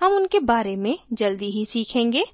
हम उनके बारे में जल्दी ही सीखेंगे